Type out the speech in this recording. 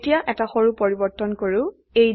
এতিয়া এটা সৰু পৰিবৰ্তন কৰো